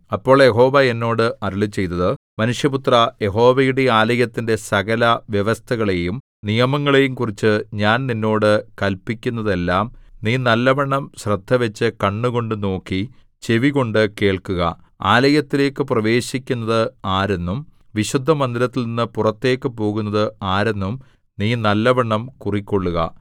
അപ്പോൾ യഹോവ എന്നോട് അരുളിച്ചെയ്തത് മനുഷ്യപുത്രാ യഹോവയുടെ ആലയത്തിന്റെ സകലവ്യവസ്ഥകളെയും നിയമങ്ങളെയും കുറിച്ച് ഞാൻ നിന്നോട് കല്പിക്കുന്നതെല്ലാം നീ നല്ലവണ്ണം ശ്രദ്ധവച്ച് കണ്ണുകൊണ്ട് നോക്കി ചെവികൊണ്ട് കേൾക്കുക ആലയത്തിലേക്ക് പ്രവേശിക്കുന്നത് ആരെന്നും വിശുദ്ധമന്ദിരത്തിൽനിന്നു പുറത്തേക്ക് പോകുന്നത് ആരെന്നും നീ നല്ലവണ്ണം കുറിക്കൊള്ളുക